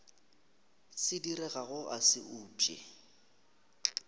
se diregago a se upše